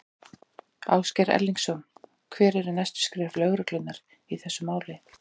Ásgeir Erlendsson: Hver eru næstu skref lögreglunnar í þessu máli?